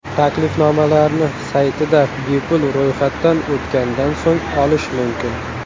Taklifnomalarni saytida bepul ro‘yxatdan o‘tgandan so‘ng olish mumkin.